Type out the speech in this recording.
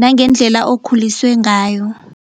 nangendlela okhuliswe ngayo.